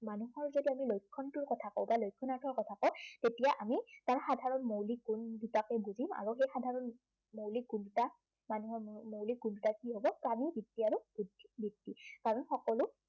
মানুহৰ যদি আমি লক্ষণটোৰ কথা কও বা লক্ষণাৰ্থৰ কথা কও, তেতিয়া আমি তাৰ সাধাৰণ মৌলিক গুণ দুটাকে বুজিম আৰু সেই সাধাৰণ মৌলিক গুণ দুটাকে বুজিম আৰু সেই সাধাৰণ মৌলিক গুণ দুটা মানুহৰ মৌলিক গুণ দুটা, কি হব প্ৰাণীবৃত্তি আৰু বুদ্ধিবৃত্তি